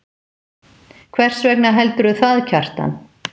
Hvers vegna heldurðu það, Kjartan?